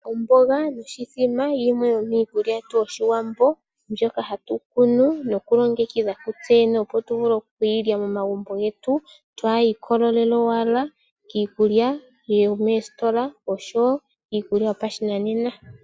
Omboga noshithima yimwe yomiikulya yetu yoshiwambo mbyoka hatu kunu noku longekidha kutse yene opo tu vule okulya momagumbo getu, twaa ikolelele owala kiikulya yomoositola nenge kiikulya yopashinanena.